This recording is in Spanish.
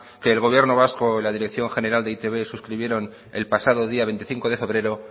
que el gobierno vasco y la dirección general de e i te be suscribieron el pasado día veinticinco de febrero